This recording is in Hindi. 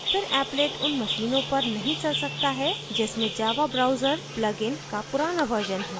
फिर applet उन मशीनों पर नहीं चल सकता है जिनमें java browser प्लगइन plugin का पुराना version है